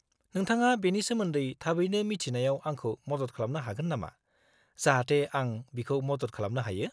-नोंथाङा बेनि सोमोन्दै थाबैनो मिथिनायाव आंखौ मदद खालामनो हागोन नामा, जाहाथे आं बिखौ मदद खालामनो हायो?